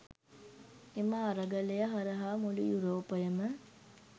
එම අරගලය හරහා මුළු යුරෝපයම